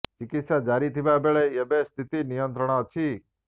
ଚିକିତ୍ସା ଜାରି ଥିବା ବେଳେ ଏବେ ସ୍ଥିତି ନିୟନ୍ତ୍ରଣ ଅଛି